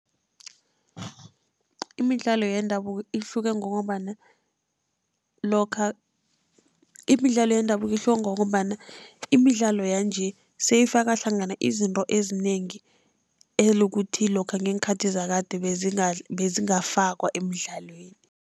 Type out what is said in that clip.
Imidlalo yendabuko ihluke ngokobana lokha. Imidlalo yendabuko ihluke ngokombana imidlalo yanje seyifaka hlangana izinto ezinengi, elokuthi lokha ngeenkhathi zakade bezingafakwa emidlalweni.